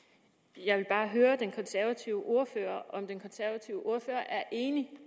jeg vil bare høre den konservative ordfører om den konservative ordfører er enig